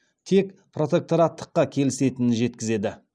тек протектораттыққа келісетінін жеткізеді